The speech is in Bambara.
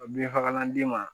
Bin fagalan d'i ma